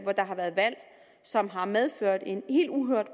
der har været valg som har medført en helt uhørt